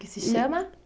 Que se chama?